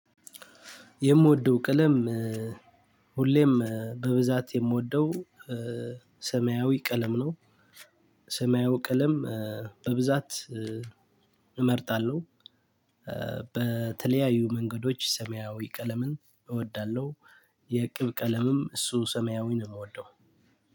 የምወደው ቀለም ሁሌም በብዛት የምወደው ሰማያዊ ቀለም ነው። ሰማያዊ ቀለም በብዛት እመርጣለሁ። በተለያዩ መንገዶች ሰማያዊ ቀለምን እወዳለሁ። የቅብ ቀለምም እሱ ሰማያዊ ነው የምወደው።